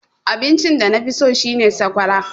Abinci da nafi so shine sakwara.